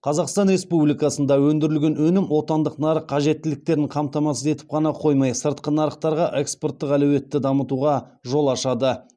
қазақстан республикасында өндірілген өнім отандық нарық қажеттіліктерін қамтамасыз етіп қана қоймай сыртқы нарықтарға экспорттық әлеуетті дамытуға жол ашады